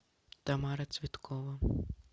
тамара цветкова